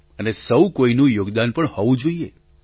અને સહુ કોઇનું યોગદાન પણ હોવું જોઇએ